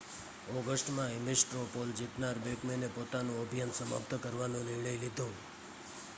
ઑગસ્ટમાં Ames straw poll જીતનાર બૅકમૅને પોતાનું અભિયાન સમાપ્ત કરવાનો નિર્ણય લીધો